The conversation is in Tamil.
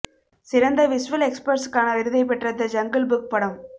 சிறந்த விஷ்வல் எஃபக்ட்ஸ்க்கான விருதை பெற்ற தி ஜங்கள் புக் படம்